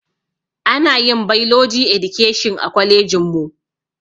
Anayin bailoji edikeshin a kwalejinmu